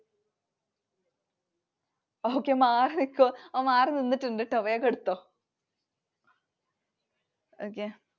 Okay. Okay മാറിനിക്കുവോ. മാറി നിന്നിട്ടുണ്ട് കേട്ടോ. വേഗം എടുത്തോ. okay